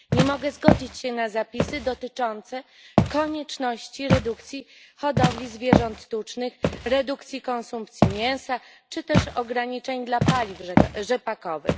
Nie mogę zgodzić się na zapisy dotyczące konieczności redukcji hodowli zwierząt tucznych, redukcji konsumpcji mięsa czy też ograniczeń dla paliw rzepakowych.